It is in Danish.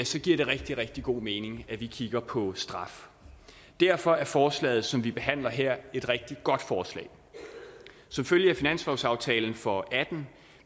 så giver det rigtig rigtig god mening at vi kigger på straffen derfor er forslaget som vi behandler her et rigtig godt forslag som følge af finanslovsaftalen for og atten